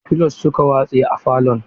Filos suka watse a falon.